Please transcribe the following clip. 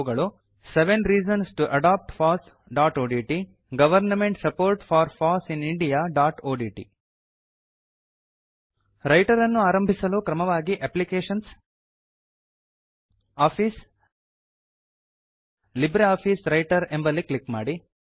ಅವುಗಳು seven reasons to adopt fossಒಡಿಟಿ government support for foss in indiaಒಡಿಟಿ ರೈಟರ್ ಅನ್ನು ಆರಂಭಿಸಲು ಕ್ರಮವಾಗಿ ಅಪ್ಲಿಕೇಶನ್ಸ್ ಆಫೀಸ್ ಲಿಬ್ರಿಆಫಿಸ್ ವ್ರೈಟರ್ ಎಂಬಲ್ಲಿ ಕ್ಲಿಕ್ ಮಾಡಿ